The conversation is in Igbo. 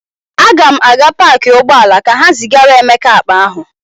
Aga m aga paakị ụgbọala ka ha zigara Emeka akpa ahụ.